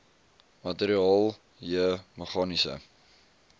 materiaal j meganiese